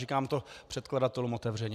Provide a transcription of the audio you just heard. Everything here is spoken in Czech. Říkám to předkladatelům otevřeně.